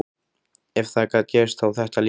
Ef það gat gerst, þá þetta líka.